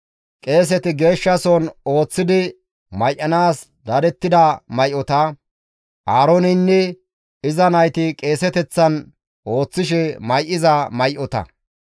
Qeeseti Geeshsha soon ooththidi may7anaas dadettida may7ota, Aarooneynne iza nayti qeeseteththan ooththishe may7iza may7ota.